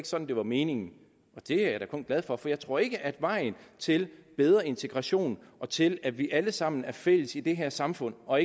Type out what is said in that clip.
sådan det var ment det er jeg da kun glad for for jeg tror ikke at vejen til bedre integration og til at vi alle sammen er fælles i det her samfund og